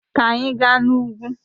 Ka anyị gaa n'ugwu!